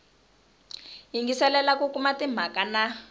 yingiselela ku kuma timhaka na